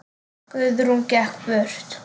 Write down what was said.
Guðrún gekk burt.